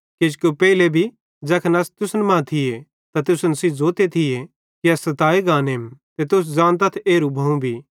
किजोकि पेइले भी ज़ैखन अस तुसन कां थिये त तुसन सेइं ज़ोते थी कि अस सताए गानेम ते तुस ज़ानतथ एरू भोवं भी